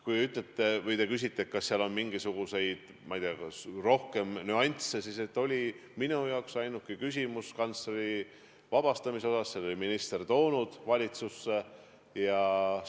Kui te küsite, kas mängus on olnud mingisuguseid muid nüansse, siis minu jaoks oli ainuke kantsleri vabastamise argument, et minister oli selle ettepaneku valitsusse toonud.